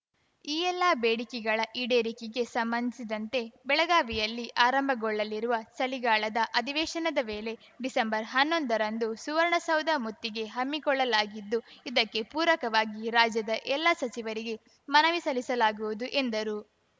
ಈ ಎಲ್ಲ ಬೇಡಿಕೆಗಳ ಈಡೇರಿಕೆಗೆ ಸಂಬಂಧಿಸಿದಂತೆ ಬೆಳಗಾವಿಯಲ್ಲಿ ಆರಂಭಗೊಳ್ಳಲಿರುವ ಚಳಿಗಾಲದ ಅಧಿವೇಶನದ ವೇಳೆ ಡಿಸೆಂಬರ್ಹನ್ನೊಂದರಂದು ಸುವರ್ಣಸೌಧ ಮುತ್ತಿಗೆ ಹಮ್ಮಿಕೊಳ್ಳಲಾಗಿದ್ದು ಇದಕ್ಕೆ ಪೂರಕವಾಗಿ ರಾಜ್ಯದ ಎಲ್ಲ ಸಚಿವರಿಗೆ ಮನವಿ ಸಲ್ಲಿಸಲಾಗುವುದು ಎಂದರು